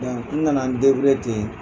n na na n ten.